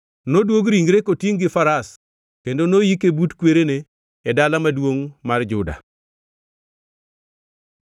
Noduog ringre kotingʼ gi faras kendo noyike but kwerene e Dala Maduongʼ mar Juda.